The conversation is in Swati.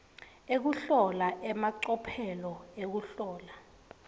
ekuhlola emacophelo ekuhlola